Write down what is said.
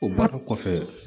O bannen kɔfɛ